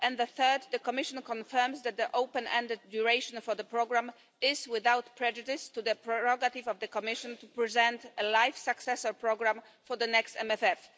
Third, the Commission confirms that the open-ended duration of the programme is without prejudice to the prerogative of the Commission to present a LIFE successor programme for the next MFF.